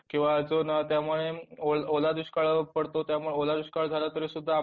किंवा त्यामुळे ओलादुष्काळ पडतो त्यामुळे ओलादुष्काळ झाला तरीसुद्धा आपल्याला